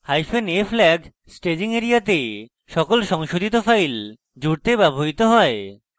hyphen a flag staging এরিয়াতে সকল সংশোধিত files জুড়তে ব্যবহৃত হয়